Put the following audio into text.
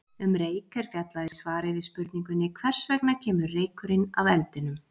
Um reyk er fjallað í svari við spurningunni Hvers vegna kemur reykurinn af eldinum?